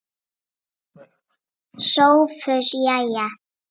SOPHUS: Jæja!